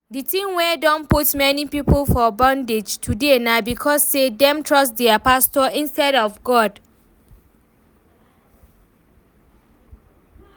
The thing wey don put many people for bondage today na because say dem trust dia pastors instead of God